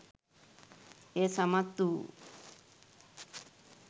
එය සමත් වූ